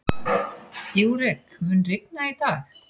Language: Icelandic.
Júrek, mun rigna í dag?